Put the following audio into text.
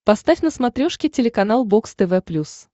поставь на смотрешке телеканал бокс тв плюс